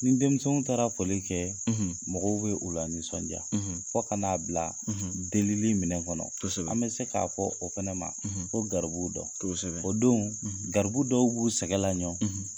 Ni denmisɛnw taara fɔlen kɛ , ,mɔgɔw bɛ u la nisɔndiya, , fo kan'a bila delili minɛ kɔnɔ, , an bɛ se k'a fɔ o fana ma ,, ko garibuw don, kosɛbɛ, o don, , garibu dɔw b'u sɛgɛ laɲɔn,